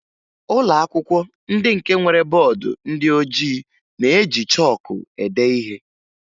Ụlọakwụkwọ ndị nke nwere bọọdụ ndị ojii na-eji chọọkụ ede ihe